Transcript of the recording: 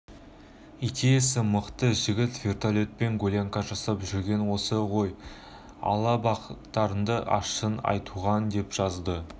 идеясы мықты жігіт вертолтпен гулянка жасап жүрген осы ғой алла бақтарыңды ашсын айтуған деп жазды